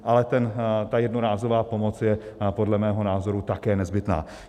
Ale ta jednorázová pomoc je podle mého názoru také nezbytná.